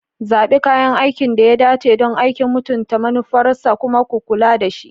Zaɓi kayan aikin da ya dace don aikin, mutunta manufarsa, kuma ku kula da shi.